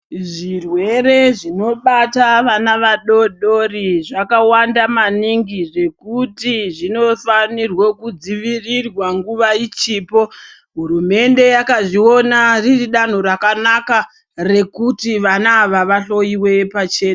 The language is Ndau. Zvirwere zvino bata vana vadodori zvaka wanda maningi zvekuti zvino fanirwe ku dzivirirwa nguva ichipo hurumende yaka zviona riri danho rakanaka rekuti vana ava va hloyiwe pachena.